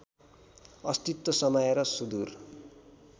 अस्तित्व समाएर सुदूर